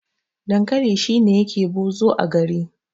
dankali shi ne yake bozo a gari